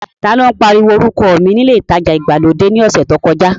Ta ló pariwo orúkọ mi ní ilé ìtajà ìgbàlódé náà ní ọ̀sẹ̀ tí ó kọjá?